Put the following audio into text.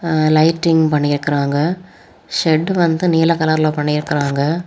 அ lighting பண்ணி இருக்காங்க shirt வந்து நீல கலர்ல பண்ணி இருக்காங்க.